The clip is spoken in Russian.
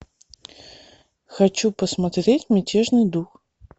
хочу посмотреть мятежный дух